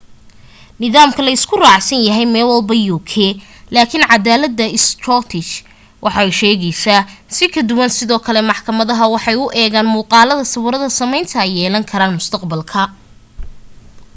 nidaamkan la isku raacsan yahay meelwalba uk lakin cadalada scottish waxay u shaqeysa si ka duwan sidoo kale maxkamada waxay u eegan muqalada sawirada sameynta ay yeelan karaan mustaqbalka